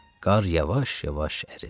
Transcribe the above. Qar yavaş-yavaş əridi.